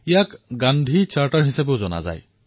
ইয়াক Gandhi charter Gandhi charter বুলিও জনা যায়